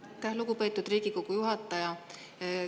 Aitäh, lugupeetud Riigikogu juhataja!